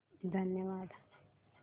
धन्यवाद